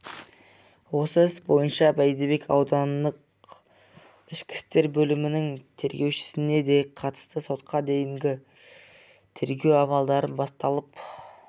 осы іс бойынша бәйдібек аудандық ішкі істер бөлімінің тергеушісіне де қатысты сотқа дейінгі тергеу амалдары басталып